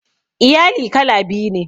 Iyali kala biyu ne.